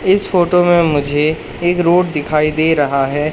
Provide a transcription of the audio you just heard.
इस फोटो में मुझे एक रोड दिखाई दे रहा है।